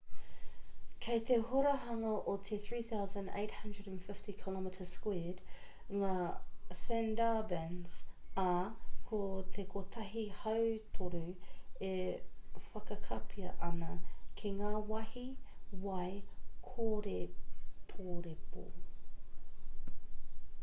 kei te horahanga o te 3,850 km2 ngā sundarbans ā ko te kotahi-hautoru e whakakapia ana ki ngā wāhi wai/kōreporepo